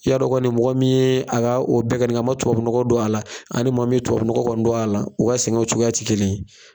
I y'a dɔn kɔni mɔgɔ min ye, a ka o bɛɛ kɛ nin kɛ, a ma tubabunɔgɔ don a la ani maa min ye tubabunɔgɔ kɔni don a la, u ka sɛgɛnw cogoya kɔni ti kelen ye.